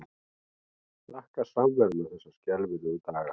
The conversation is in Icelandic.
Þakka samveruna þessa skelfilegu daga.